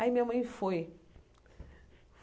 Aí minha mãe foi.